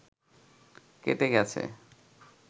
কেটে গেছে